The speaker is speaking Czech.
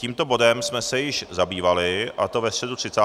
Tímto bodem jsme se již zabývali, a to ve středu 30. května.